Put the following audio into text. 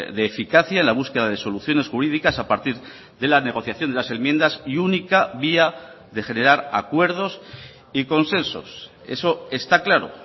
de eficacia en la búsqueda de soluciones jurídicas a partir de la negociación de las enmiendas y única vía de generar acuerdos y consensos eso está claro